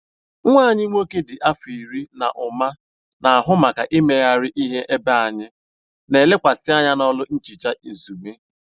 Nwa anyị nwoke dị afọ iri na ụma na-ahụ maka imegharị ihe ebe anyị n'elekwasị anya n'ọlụ nhicha izugbe.